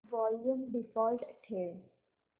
volume default ठेव